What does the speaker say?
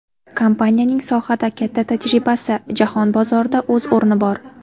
Kompaniyaning sohada katta tajribasi, jahon bozorida o‘z o‘rni bor.